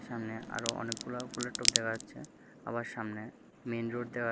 এখানে আরো অনেকগুলা ফুলের টব দেখা যাচ্ছে আবার সামনে মেইনরোড দেখা--